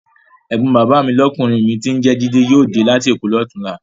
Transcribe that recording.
Ẹ̀gbọ́n bàbá lọ́kùnrin mi tí ń jẹ́ jídé yóò dé láti Èkó ní ọ̀túnla.